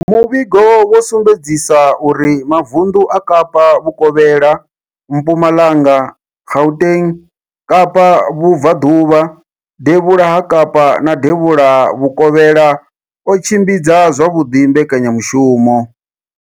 Muvhigo wo sumbedzisa uri mavundu a Kapa Vhukovhela, Mpumalanga, Gauteng, Kapa Vhubva ḓuvha, Devhula ha Kapa na Devhula Vhukovhela o tshimbidza zwavhuḓi mbekanya mushumo.